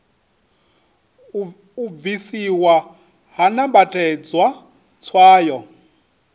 u bvisiwa ha nambatedzwa tswayo